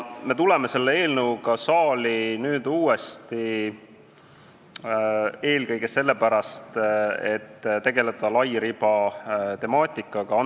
Me tuleme selle eelnõuga uuesti saali eelkõige sellepärast, et tegeleda lairiba temaatikaga.